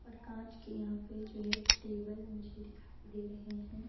और कांच के यहां पे जो है टेबल मुझे दिखाई दे रहे हैं।